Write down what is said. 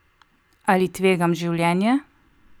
Ali tvegam življenje?